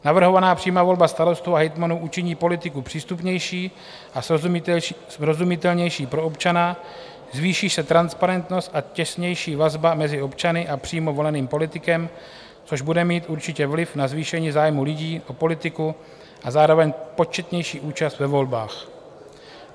Navrhovaná přímá volba starostů a hejtmanů učiní politiku přístupnější a srozumitelnější pro občana, zvýší se transparentnost a těsnější vazba mezi občany a přímo voleným politikem, což bude mít určitě vliv na zvýšení zájmu lidí o politiku a zároveň početnější účast ve volbách.